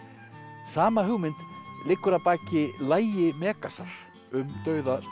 sama hugmynd liggur að baki lagi Megasar um dauða Snorra